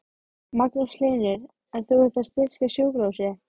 Magnús Hlynur: En þú ert að styrkja sjúkrahúsið?